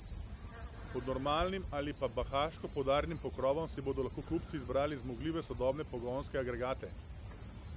Pod normalnim ali pa bahaško poudarjenim pokrovom si bodo lahko kupci izbrali zmogljive sodobne pogonske agregate.